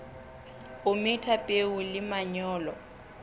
o metha peo le manyolo